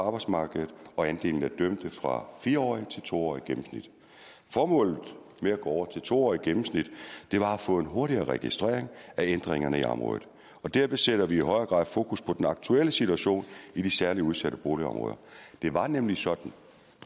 arbejdsmarkedet og andelen af dømte fra fire årige til to årige gennemsnit formålet med at gå over til to årige gennemsnit var at få en hurtigere registrering af ændringerne i området derved sætter vi i højere grad fokus på den aktuelle situation i de særligt udsatte boligområder det var nemlig sådan